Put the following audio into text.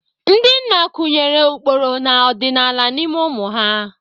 Ndị nna kụnyere ụkpụrụ na ọdịnala n'ime ụmụ ha.